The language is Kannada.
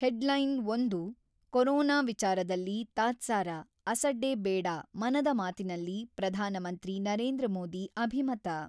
ಹೆಡ್‌ಲೈನ್-ಒಂದು ಕೊರೊನಾ ವಿಚಾರದಲ್ಲಿ ತಾತ್ಸಾರ, ಅಸಡ್ಡೆ ಬೇಡ ಮನದ ಮಾತಿನಲ್ಲಿ ಪ್ರಧಾನ ಮಂತ್ರಿ ನರೇಂದ್ರ ಮೋದಿ ಅಭಿಮತ.